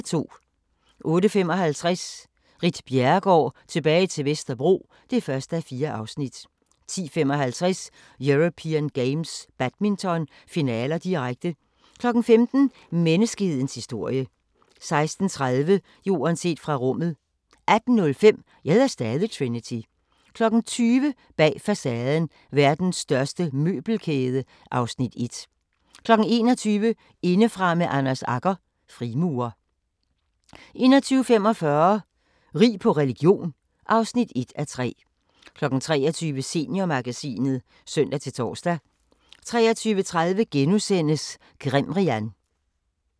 08:55: Ritt Bjerregaard – tilbage til Vesterbro (1:4) 10:55: European Games - badminton, finaler, direkte 15:00: Menneskehedens historie 16:30: Jorden set fra rummet 18:05: Jeg hedder stadig Trinity 20:00: Bag facaden: Verdens største møbelkæde (Afs. 1) 21:00: Indefra med Anders Agger – Frimurer 21:45: Rig på religion (1:3) 23:00: Seniormagasinet (søn-tor) 23:30: Grimrian *